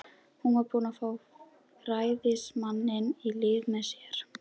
Hún var búin að fá ræðismanninn í lið með sér.